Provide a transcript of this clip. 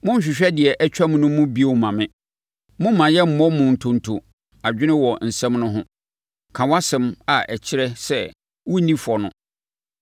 Monhwehwɛ deɛ atwam no mu bio mma me, momma yɛmmɔ mu ntonto adwene wɔ asɛm no ho; ka wʼasɛm a ɛkyerɛ sɛ wonni fɔ no.